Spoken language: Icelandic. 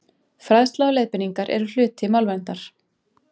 Fræðsla og leiðbeiningar eru hluti málverndar.